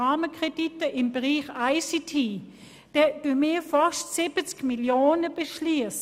Für Rahmenkredite im Bereich ICT beschliessen wir fast 70 Mio. Franken.